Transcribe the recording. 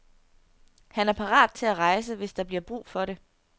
Han er parat til at rejse, hvis der bliver brug for det.